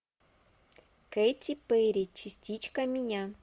кэти перри частичка меня